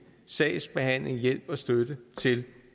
sagsbehandling hjælp og støtte til